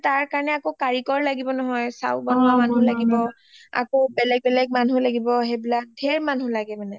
তাৰ কাৰণে আকৌ কাৰিকৰ লগিব নহয় chow বনুৱা মানুহ লাগিব আকৌ বেলেগ বেলেগ মানুহ লাগিব সেইবিলাক ঢেৰ মানুহ লাগিব ঢেৰ মানুহ লাগে মানে